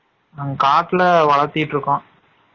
நாங்க காட்ல வலதீட்டு இருகோம்